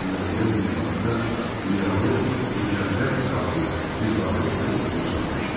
Qeyri-müəyyən bir vaxtda dünyanı mücərrəd qavrayan bir varlıq olduğumu sanmışdım.